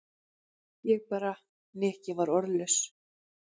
Ég bara. Nikki var orðlaus.